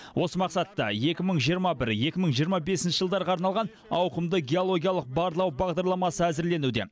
осы мақсатта екі мың жиырма бір екі мың жиырма бесінші жылдарға арналған ауқымды геологиялық барлау бағдарламасы әзірленуде